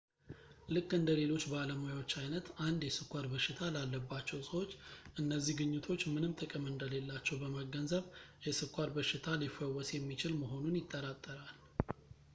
ልክ እንደ ሌሎች ባለሙያዎች አይነት 1 የስኳር በሽታ ላለባቸው ሰዎች እነዚህ ግኝቶች ምንም ጥቅም እንደሌላቸው በመገንዘብ የስኳር በሽታ ሊፈወስ የሚችል መሆኑን ይጠራጠራል